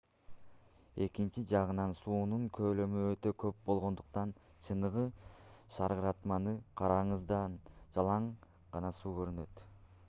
экинчи жагынан суунун көлөмү өтө көп болгондуктан чыныгы шаркыратманы караганыңызда жалаң гана суу көрүнөт